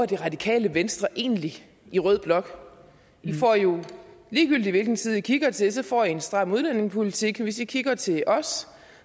det radikale venstre egentlig i rød blok lige gyldig hvilken side i kigger til får i en stram udlændingepolitik og hvis i kigger til os